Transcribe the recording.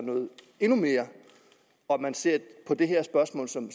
endnu mere og at man ser på det her spørgsmål som